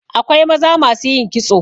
Akwai maza masu yin kitso.